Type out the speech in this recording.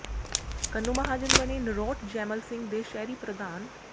ਕੰਨੂ ਮਹਾਜਨ ਬਣੇ ਨਰੋਟ ਜੈਮਲ ਸਿੰਘ ਦੇ ਸ਼ਹਿਰੀ ਪ੍ਰਧਾਨ